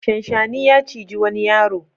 Shanshani ya ciji wani yaro.